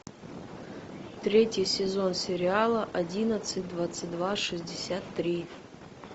третий сезон сериала одиннадцать двадцать два шестьдесят три